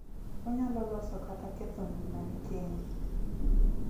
Onyalo loso kata ketho ngimani kendi.